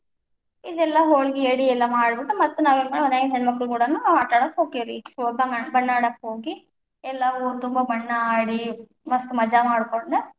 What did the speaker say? ಇದ್ ಎಲ್ಲಾ ಹೋಳಗಿ ಯಡಿ ಎಲ್ಲಾ ಮಾಡ್ಬಿಟ್ಟು ಮತ್ತ ನಾವೇನ್ ಮಾಡ್ತೀವಿ ಮನ್ಯಾಗಿನ ಹೆಣ್ಮಕ್ಳು ಕೂಡಾನು ಆಟ ಆಡಾಕ ಹೊಕ್ಕೇವ್ರಿ, ಬಣ್ಣ ಆಡಾಕ ಹೋಗಿ, ಎಲ್ಲಾ ಊರ ತುಂಬಾ ಬಣ್ಣ ಆಡಿ, मस्त माजा ಮಾಡ್ಕೊಂಡ.